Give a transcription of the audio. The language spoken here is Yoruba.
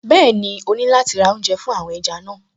Bẹ́ẹ̀ni, ó ní láti ra oúnjẹ fún àwọn ẹja náà